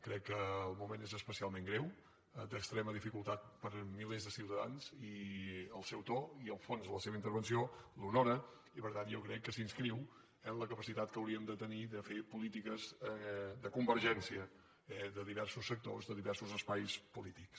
crec que el moment és especialment greu d’extrema dificultat per a milers de ciutadans i el seu to i el fons de la seva intervenció l’honoren i per tant jo crec que s’inscriu eh en la capacitat que hauríem de tenir de fer polítiques de convergència de diversos sectors de diversos espais polítics